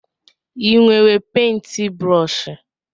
Ị nwere pentbrọshi?